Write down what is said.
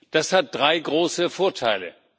Das hat drei große Vorteile.